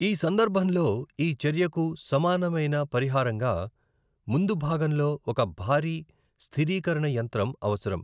ఈ సందర్భంలో ఈ చర్యకు సమానమైన పరిహారంగా ముందుభాగంలో ఒక భారీ స్థిరీకరణ యంత్రం అవసరం.